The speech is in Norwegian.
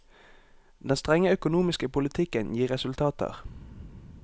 Den strenge økonomiske politikken gir resultater.